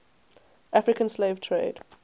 african slave trade